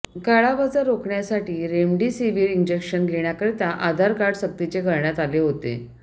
काळाबाजार रोखण्यासाठी remdesivir injection घेण्याकरिता आधार कार्ड सक्तीचे करण्यात आले होते